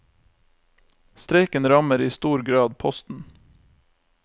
Streiken rammer i stor grad posten.